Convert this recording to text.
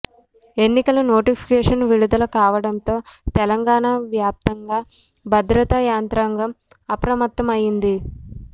ఎన్నికల నోటిఫికేషన్ విడుదల కావడంతో తెలంగాణ వ్యాప్తంగా భద్రతా యంత్రాంగం అప్రమత్తమైంది